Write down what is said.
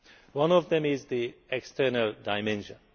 One of them is the external dimension.